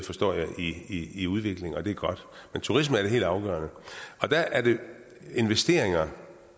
forstår jeg inde i en udvikling og det er godt men turisme er det helt afgørende der er det investeringer